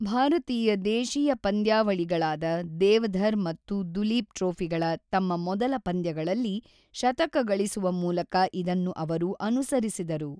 ಭಾರತೀಯ ದೇಶೀಯ ಪಂದ್ಯಾವಳಿಗಳಾದ ದೇವಧರ್ ಮತ್ತು ದುಲೀಪ್ ಟ್ರೋಫಿಗಳ ತಮ್ಮ ಮೊದಲ ಪಂದ್ಯಗಳಲ್ಲಿ ಶತಕ ಗಳಿಸುವ ಮೂಲಕ ಇದನ್ನು ಅವರು ಅನುಸರಿಸಿದರು.